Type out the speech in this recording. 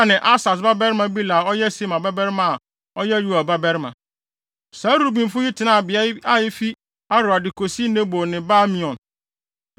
ne Asas babarima Bela a ɔyɛ Sema babarima a ɔyɛ Yoel babarima. Saa Rubenfo yi tenaa beae a efi Aroer de kosi Nebo ne Baal-Meon.